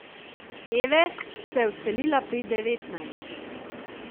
Eve se je odselila pri devetnajstih.